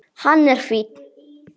Hann er fínn.